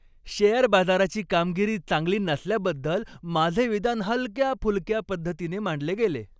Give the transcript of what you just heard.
Share बाजाराची कामगिरी चांगली नसल्याबद्दल माझे विधान हलक्या फुलक्या पद्धतीने मांडले गेले.